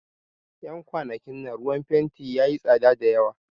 Yan kwanakin nan ruwan fenti yayi tsada da yawa